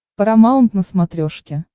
парамаунт на смотрешке